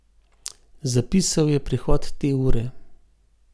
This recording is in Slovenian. Zapisal je prihod te ure.